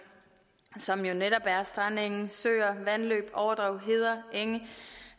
som jo netop er strandenge søer vandløb overdrev heder enge